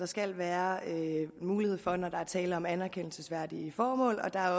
skal være mulighed for undtagelser når der er tale om anerkendelsesværdige formål og der